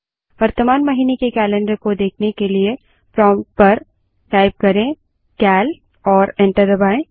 वर्तमान महीने के कैलन्डर को देखने के लिए प्रोंप्ट पर सीएल टाइप करें और एंटर दबायें